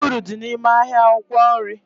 Ezigbo uru dị n'ime ahịa akwụkwọ nri